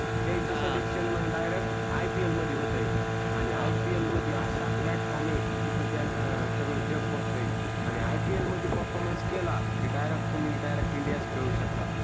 त्याच selection मग हा directIPL मध्ये होतोय आणि IPL म्हणजे असा platform आहे की जिथे त्यांना सगड जग बगतोय आणि IPL मध्ये performance केला तर direct तुम्ही directindia च खेडू शकता.